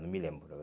Não me lembro.